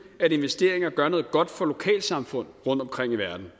at investeringer gør noget godt for lokalsamfund rundtomkring i verden